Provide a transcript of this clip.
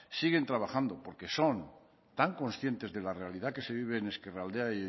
siguen trabajando porque son tan conscientes de la realidad que se vive en ezkerraldea